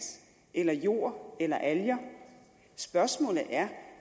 eller jord eller alger spørgsmålet er